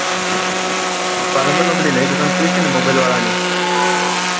પાલનપુર માં પેલી નવી દુકાન ખુલી છે ને mobile વાળાની